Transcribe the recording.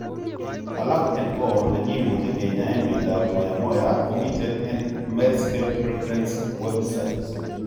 Alak en or ne gimuche kinyaen miondap Moyamoya komiten en Medscape Reference's Web site.